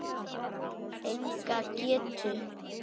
Enga getu.